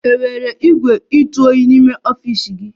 Enwere igwe kwụ otu ebe n'ọfịs gị?